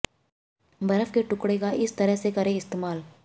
बर्फ के टुकड़े का इस तरह से करें इस्तेमाल